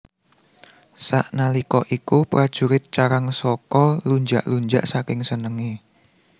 Sanalika iku prajurit Carangsoka lunjak lunjak saking senenge